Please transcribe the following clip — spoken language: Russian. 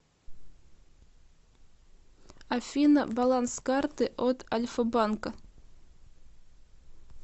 афина баланс карты от альфа банка